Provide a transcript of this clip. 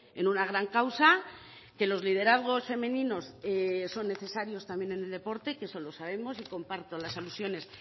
en una gran causa que los liderazgos femeninos son necesarios también en el deporte que eso lo sabemos y comparto las alusiones